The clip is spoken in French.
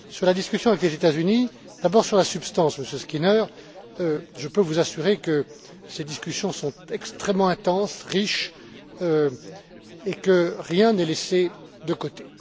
À propos de la discussion avec les États Unis, d'abord sur la substance, Monsieur Skinner, je peux vous assurer que ces discussions sont extrêmement intenses, riches et que rien n'est laissé de côté.